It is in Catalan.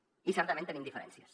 i certament tenim diferències